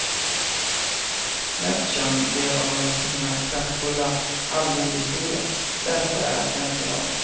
Mest känd blev han väl för sina kraftfulla allmogehistorier, läsvärda än i dag.